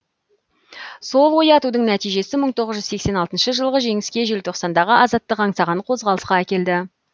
сол оятудың нәтижесі мың тоғыз жүз сексен алтыншы жылғы жеңіске желтоқсандағы азаттық аңсаған қозғалысқа әкелді